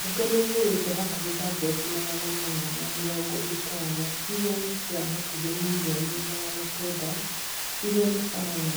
Bunge niigũrite hakuhi tablet magana mana na mĩrongo ĩtano iria ni cia hakuhi mirioni 900 iria ni sawa na